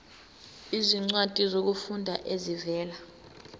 izincwadi zokufunda ezivela